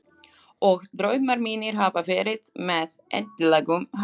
Og draumar mínir hafa verið með eðlilegum hætti.